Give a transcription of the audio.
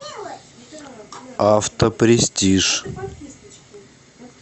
автопрестиж